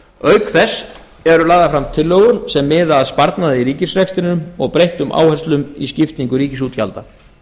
auk þess eru lagðar fram tillögur sem miða að sparnaði í ríkisrekstrinum og breyttum áherslum í skiptingu ríkisútgjalda